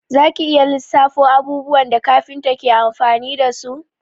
Za ki iya lissafo abubuwan da kafinta ke amfani dasu?